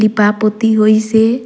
लिपा पोती होइसे।